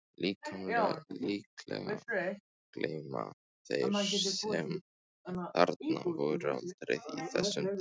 Líklega gleyma þeir sem þarna voru aldrei þessum degi.